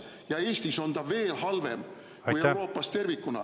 Ja Eestis on see veel halvem kui Euroopas tervikuna …